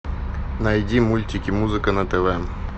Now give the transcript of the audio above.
найди мультики музыка на тв